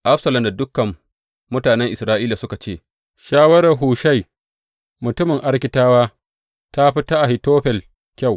Absalom da dukan mutanen Isra’ila suka ce, Shawarar Hushai mutumin Arkitawa ta fi ta Ahitofel kyau.